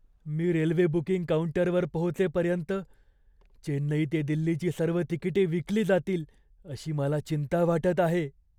मी railway booking काउंटरवर पोहोचेपर्यंत चेन्नई ते दिल्लीची सर्व तिकिटे विकली जातील अशी मला चिंता वाटत आहे.